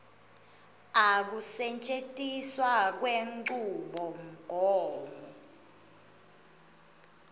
a kusetjentiswa kwenchubomgomo